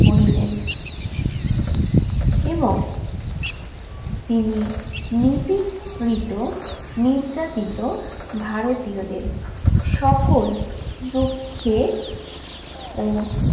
করিলেন। এবং তিনি নিপীড়িত, নির্যাতিত ভারতীয়দের সকল দুঃখের ও